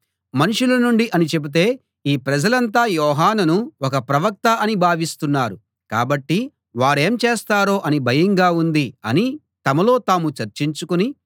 మనుషుల నుండి అని చెబితే ఈ ప్రజలంతా యోహానును ఒక ప్రవక్త అని భావిస్తున్నారు కాబట్టి వారేం చేస్తారో అని భయంగా ఉంది అని తమలో తాము చర్చించుకుని